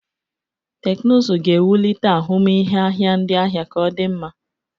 Teknụzụ ga-ewulite ahụmịhe ahịa ndị ahịa ka o di nma.